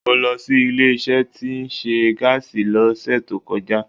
Mo lọ sí ilé isé tí ó nse gáàsì ló sè tó kọjá